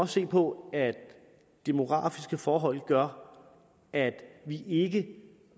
se på at demografiske forhold gør at vi ikke